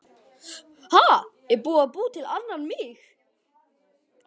Ha, er búið að búa til annan mig?